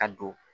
A don